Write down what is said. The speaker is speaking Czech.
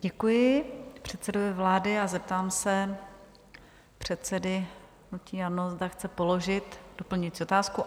Děkuji předsedovi vlády a zeptám se předsedy hnutí ANO, zda chce položit doplňující otázku.